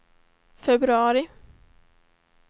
februari